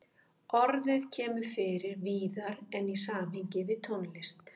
Orðið kemur fyrir víðar en í samhengi við tónlist.